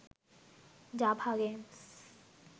Java games